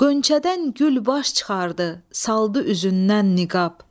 Qönçədən gül baş çıxardı, saldı üzündən niqab.